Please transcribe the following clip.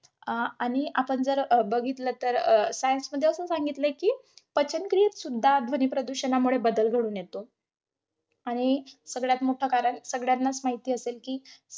अं आणि आपण जर अं बघितलं तर अं science मध्ये असं सांगितलंय कि, पचन क्रियेतसुद्धा ध्वनिप्रदूषणामुळे बदल घडून येतो. आणि सगळ्यात मोठ कारण, सगळ्यांनाच माहित असेल कि,